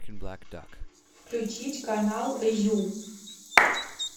включить канал ю